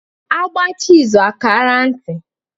A gbaacha izu a kaara nti